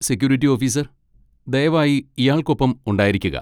Security officer, ദയവായി ഇയാൾക്കൊപ്പം ഉണ്ടായിരിക്കുക.